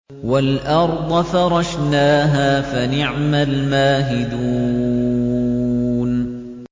وَالْأَرْضَ فَرَشْنَاهَا فَنِعْمَ الْمَاهِدُونَ